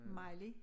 Miley